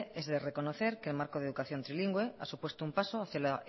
es de reconocer que el marco de educación trilingüe ha supuesto un paso hacia la